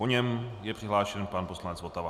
Po něm je přihlášen pan poslanec Votava.